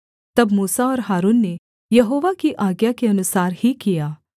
तब मूसा और हारून ने यहोवा की आज्ञा के अनुसार ही किया